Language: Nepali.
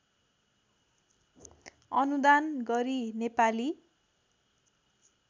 अनुदान गरी नेपाली